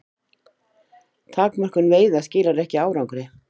Takmörkun veiða skilar ekki árangri